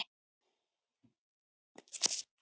Hann kinkaði kolli og leit undan.